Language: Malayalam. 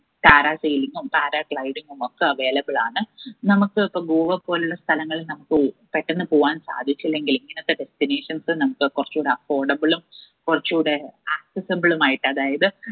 parasailing ഉം para gliding ഉമൊക്കെ available ആണ്. നമ്മുക്ക് ഇപ്പോ ഗോവ പോലുള്ള സ്ഥലങ്ങൾ നമ്മുക്ക് ഉ പെട്ടെന്ന് പോവാൻ സാധിച്ചില്ലെങ്കില് ഇങ്ങനത്തെ destinations നമ്മുക്ക് കൊറച്ചൂടെ affordable ഉം കൊറച്ചൂടെ accessible ഉമായിട്ട് അതായത്